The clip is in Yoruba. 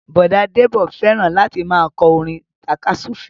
Bọ̀dá Débọ̀ fẹ́ràn láti máa kọ́ orin tàka súfèé